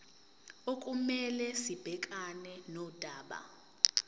okumele sibhekane nodaba